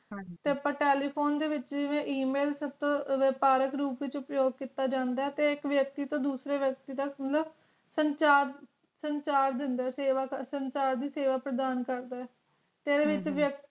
ਹਨ ਜੀ ਏਤੇ ਅੱਪਾ telephone ਦੇ ਵਿਚ e mail ਤੂੰ ਪਾਰਕ ਰੂਪ ਵਿਚ ਅਪਯੋਕ ਕੀਤਾ ਜਾਂਦਾ ਤੇ ਇਕ ਵਿਅਕਤੀ ਤੂੰ ਦੂਜੇ ਵਿਅਕਤੀ ਤਕ ਸੰਚਾਰ ਸੰਚਾਰ ਦੇਂਦਾ ਸੇਵਾ ਸੰਚਾਰ ਦੀ ਸੇਵਾ ਪ੍ਰਦਾਨ ਕਰਦਾ ਤੇ ਹਮ